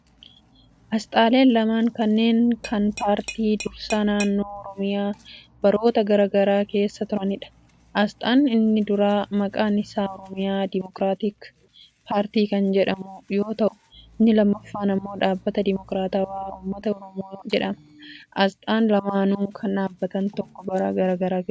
Asxaaleen lamaan kunneen kan paartii dursaa naannoo Oromiyaa baroota garaa garaa keessa turaniidha. Asxaan inni duraa maqaan isaa Oromiyaa Demookitaatik Paartii kan jedhamu yoo ta'u, inni lammaffaan immoo Dhaabbata Demookiraatawaa Ummata Oromoo jedhama. Asxaan lamaanuu kan dhaabbata tokkoo bara garaa garaa keessa tureedha.